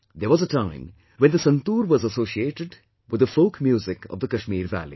There was a time when the santoor was associated with the folk music of the Kashmir valley